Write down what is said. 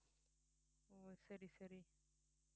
ஓ சரி சரி